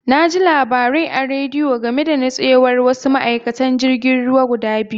Na ji labari a rediyo game da nutsewar wasu ma'aikatan jirgin ruwa guda biyu.